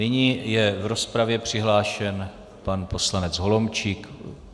Nyní je v rozpravě přihlášen pan poslanec Holomčík.